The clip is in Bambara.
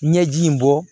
Ɲɛji in bɔ